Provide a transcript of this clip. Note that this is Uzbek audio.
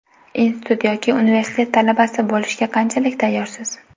Institut yoki universitet talabasi bo‘lishga qanchalik tayyorsiz?